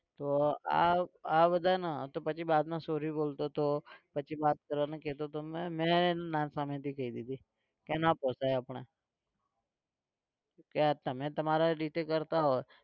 તો આ આ બધાના તો પછી बाद માં sorry બોલતો હતો પછી વાત કરવાનું કહેતો હતો. મેં મેં એને ના જ સામેથી કઈ દીઘી કે ના પોસાય આપણે કે તમે તમારા રીતે કરતા હોય.